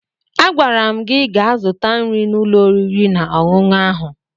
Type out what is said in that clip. Agwara m gị gaa zụta nri n'ụlọ oriri na ọṅụṅụ ahụ!